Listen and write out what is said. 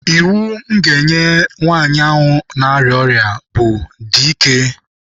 Iwu m ga-enye nwaanyị ahụ nọ n'ọrịa bụ, 'dị ike!'